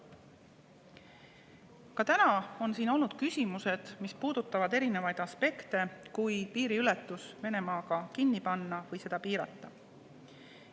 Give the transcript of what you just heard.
Ka täna on siin olnud küsimusi, mis puudutavad erinevaid aspekte, kui piiriületus Venemaa piiril kinni panna või seda piirata.